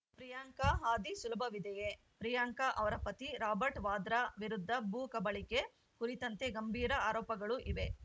ಪ್ರಿಯಾಂಕಾ ಹಾದಿ ಸುಲಭವಿದೆಯೇ ಪ್ರಿಯಾಂಕಾ ಅವರ ಪತಿ ರಾಬರ್ಟ್‌ ವಾದ್ರಾ ವಿರುದ್ಧ ಭೂಕಬಳಿಕೆ ಕುರಿತಂತೆ ಗಂಭೀರ ಆರೋಪಗಳು ಇವೆ